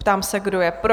Ptám se, kdo je pro?